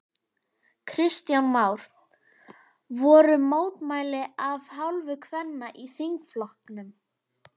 Kristján Már: Voru mótmæli af hálfu kvenna í þingflokknum?